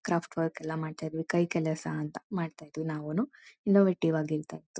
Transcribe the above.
Craft work ಎಲ್ಲ ಮಾಡ್ತಾ ಇದ್ವಿ ಕೈ ಕೆಲಸ ಅಂತ ಮಾಡ್ತಾ ಇದ್ವಿ ನಾವುನು ಇನ್ನೋವೆಟಿವ್ ಆಗಿ ಇರ್ತಾ ಇತ್ತು.